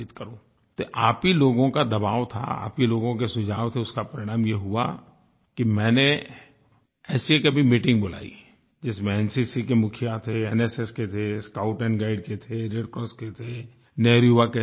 तो आप ही लोगों का दबाव था आप ही लोगों के सुझाव थे उसका परिणाम ये हुआ कि मैंने ऐसी एक अभी मीटिंग बुलायी जिसमें एनसीसी के मुखिया थे एनएसएस के थे स्काउट एंड गाइड के थे रेड क्रॉस के थे नेहरु युवा केंद्र के थे